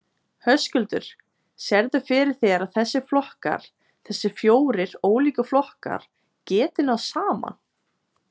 Höskuldur: Sérðu fyrir þér að þessir flokkar, þessir fjórir ólíku flokkar, geti náð saman?